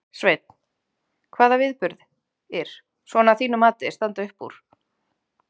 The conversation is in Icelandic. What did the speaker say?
Sveinn: Hvaða viðburðir, svona að þínu mati, standa upp úr?